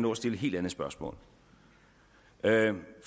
nå at stille et helt andet spørgsmål